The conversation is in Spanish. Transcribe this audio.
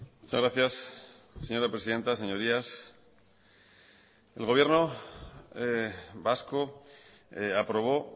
muchas gracias señora presidenta señorías el gobierno vasco aprobó